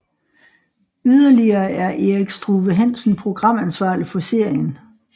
Yderligere er Erik Struve Hansen programansvarlig for serien